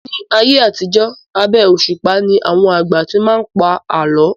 Ni ayé àtijọ́ abẹ́ òṣùpá ni àwọn àgbà tí máa ń pa àálọ́